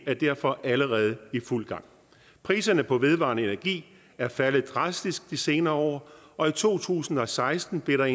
er derfor allerede i fuld gang priserne på vedvarende energi er faldet drastisk de senere år og i to tusind og seksten blev der